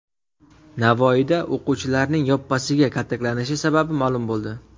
Navoiyda o‘quvchilarning yoppasiga kaltaklanishi sababi ma’lum bo‘ldi .